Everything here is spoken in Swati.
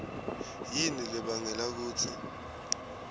yini lebangela kutsi